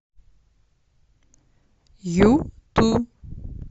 юту